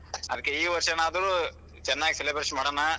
ಅದಕ್ಕೆ ಈ ವಷ೯ನಾದ್ರೂ ಚೆನ್ನಾಗಿ celebration ಮಾಡಣ.